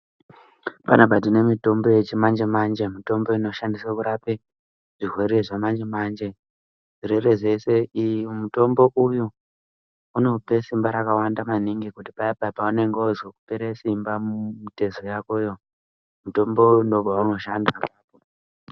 Panapa tine mutombo yechimanje-manje mitombo inoshandiswe kurape zvirwere zvamanje-manje. Zvirwere zveshe, uyu mutombo unope simba rakawanda maningi kuti paya paya paanonge ozwe kupera simba, mumitezo yakoyo, mutombo uyu ndopeunoshanda.